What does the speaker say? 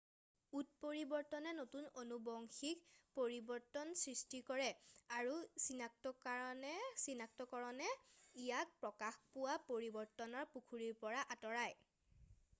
উৎপৰিবৰ্তনে নতুন আনুবংশীক পৰিৱৰ্তন সৃষ্টি কৰে আৰু চিনাক্তকৰণে ইয়াক প্ৰকাশ পোৱা পৰিৱৰ্তনৰ পুখুৰীৰ পৰা আঁতৰাই